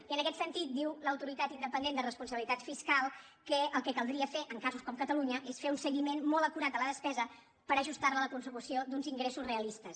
i en aquest sentit diu l’autoritat independent de responsabilitat fiscal que el que caldria fer en casos com catalunya és fer un seguiment molt acurat de la despesa per ajustar la a la consecució d’uns ingressos realistes